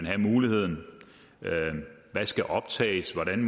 have muligheden hvad der skal optages hvordan